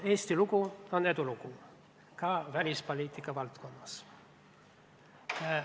Eesti lugu on edulugu, ka välispoliitika valdkonnas.